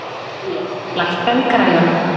Bríet, lækkaðu í græjunum.